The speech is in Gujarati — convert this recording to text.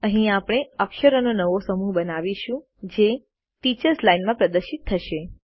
અહીં આપણે અક્ષરોનો નવો સમૂહ બનાવીશું જે ટીચર્સ લાઇન માં પ્રદર્શિત થશે